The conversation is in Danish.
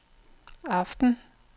aften